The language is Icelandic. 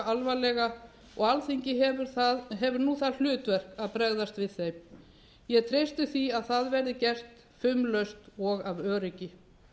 alvarlega og alþingi hefur nú það hlutverk að bregðast við þeim ég treysti því að það verði gert fumlaust og af öryggi